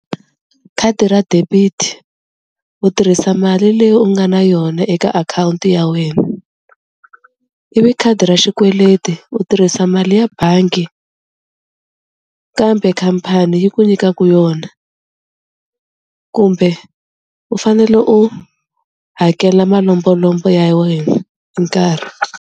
Khadi ra debit u tirhisa mali leyi u nga na yona eka akhawunti ya wena, ivi khadi ra xikweleti u tirhisa mali ya bangi kambe khampani yi ku nyikaku yona, kumbe u fanele u hakela malombolombo ya wena hi nkarhi.